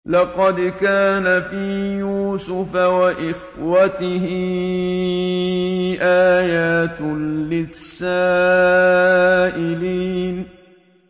۞ لَّقَدْ كَانَ فِي يُوسُفَ وَإِخْوَتِهِ آيَاتٌ لِّلسَّائِلِينَ